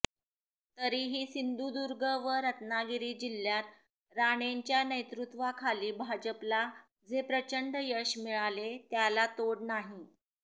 तरीही सिंधुदुर्ग व रत्नागिरी जिल्ह्यात राणेंच्या नेतृत्वाखाली भाजपला जे प्रचंड यश मिळाले त्याला तोड नाही